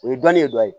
O ye dɔnni ye dɔ ye